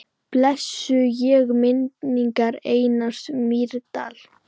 Blessuð sé minning Einars Mýrdal.